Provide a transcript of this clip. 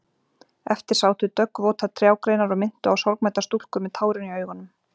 Eftir sátu döggvotar trjágreinar og minntu á sorgmæddar stúlkur með tárin í augunum.